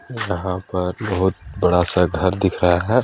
यहाँ पर बहुत बड़ा- सा घर दिख रहा हैं।